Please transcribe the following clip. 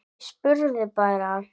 Ég spurði bara.